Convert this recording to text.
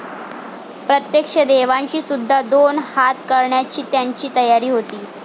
प्रत्यक्ष देवांशी सुद्धा दोन हात करण्याची त्याची तयारी होती.